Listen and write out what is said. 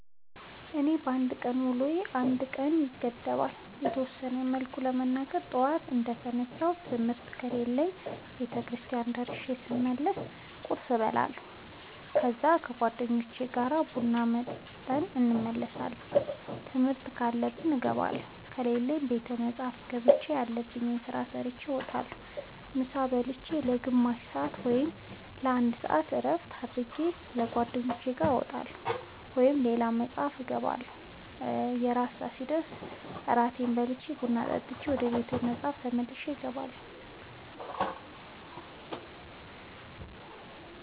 የኔ የአንድ ቀን ውሎዬ እንደ ቀኑ ይገደባል። በተወሰነ መልኩ ለመናገር ጠዋት እንደ ተነሳሁ ትምህርት ከሌለብኝ ቤተክርስቲያን ደርሼ ስመለስ ቁርስ እበላለሁ ከዛ ከ ጓደኞቼ ጋር ቡና ጠጥተን እንመለሳለን ትምህርት ካለብኝ እገባለሁ ከሌለብኝ ቤተ መፅሐፍ ገብቼ ያለብኝን ስራ ሰርቼ እወጣለሁ። ምሳ ብልቼ ለ ግማሽ ሰአት ወይም ለ አንድ ሰአት እረፍት አድርጌ ከ ጓደኞቼ ጋር እወጣለሁ ወይም ቤተ መፅሐፍ እገባለሁ። የእራት ሰአት ሲደርስ እራቴን በልቼ ቡና ጠጥቼ ወደ ቤተ መፅሐፍ ተመልሼ እገባለሁ።